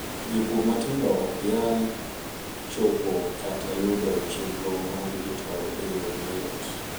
jopur matindo okyal chopo kata yudo chenro mar dijital e yoo mayot